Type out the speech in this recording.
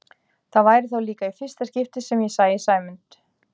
Það væri þá líka í fyrsta skipti sem ég sæi Sæmund